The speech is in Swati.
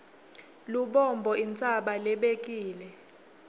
lubombo intsaba lebekile